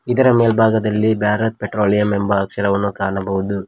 ಇದರ ಮೇಲ್ಬಾಗದಲ್ಲಿ ಭಾರತ್ ಪೆಟ್ರೋಲಿಯಂ ಎಂಬ ಅಕ್ಷರವನು ಕಾಣಬಹುದು.